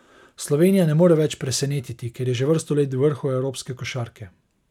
Slovenija ne more več presenetiti, ker je že vrsto let v vrhu evropske košarke.